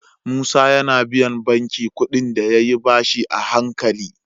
Musa yAna biyan banki kuɗin da yayi bashi a hankali